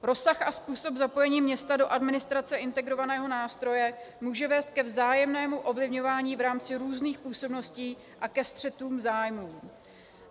Rozsah a způsob zapojení města do administrace integrovaného nástroje může vést ke vzájemnému ovlivňování v rámci různých působností a ke střetům zájmů.